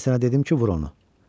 Mən sənə dedim ki, vur onu.